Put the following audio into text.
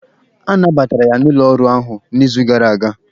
A nabatara ya n'ụlọ ọrụ ahụ n'izu gara aga.